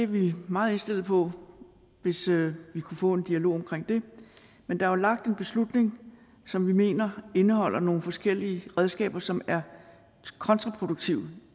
vi meget indstillet på hvis vi kunne få en dialog om det men der er jo lagt en beslutning som vi mener indeholder nogle forskellige redskaber som er kontraproduktive